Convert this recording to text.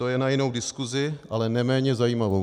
To je na jinou diskusi, ale neméně zajímavou.